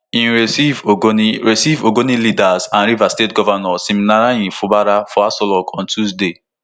im receive ogoni receive ogoni leaders and rivers state govnor siminalayi fubara for aso villa on tuesday